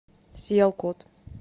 сиялкот